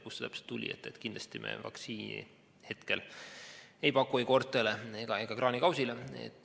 Kindlasti ei paku me vaktsiini hetkel ei koertele ega kraanikausile.